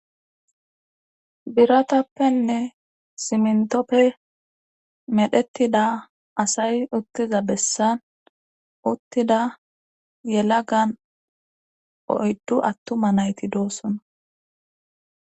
biratappenne simntoppe medhettida asay uttiza bessan uttida yelagan oyddu attuma nayti doossona